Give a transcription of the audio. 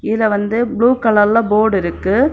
இங்க வந்து ப்ளூ கலர்ல போர்டு இருக்கு.